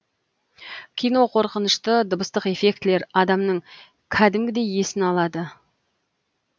кино қорқынышты дыбыстық эффектілер адамның кәдімгідей есін алады